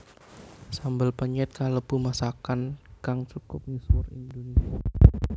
Sambel penyèt kalebu masakan kang cukup misuwur ing Indonésia